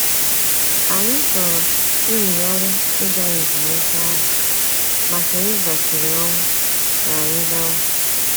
Anyị chọrọ iyigharị ịga ezumike ahụ, ma Theresa siri ọnwụ ka anyị gawa.